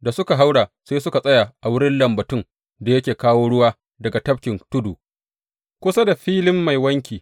Da suka haura sai suka tsaya a wurin lambatun da yake kawo ruwa daga Tafkin Tudu, kusa da hanyar Filin Mai Wanki.